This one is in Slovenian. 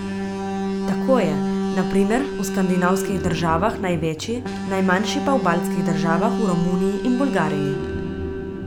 Tako je, na primer, v skandinavskih državah največji, najmanjši pa v baltskih državah, v Romuniji in Bolgariji.